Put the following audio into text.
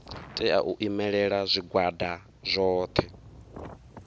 tea u imelela zwigwada zwothe